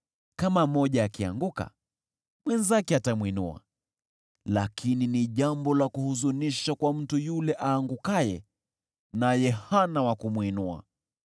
Kama mmoja akianguka, mwenzake atamwinua. Lakini ni jambo la kuhuzunisha kwa mtu yule aangukaye naye hana wa kumwinua!